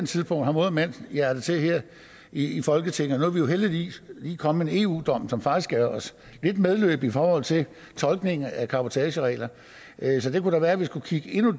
tidspunkt har mod og mandshjerte her i folketinget nu er der jo heldigvis lige kommet en eu dom som faktisk giver os lidt medhold i forhold til tolkningen af cabotageregler så det kunne da være at vi skulle kigge endnu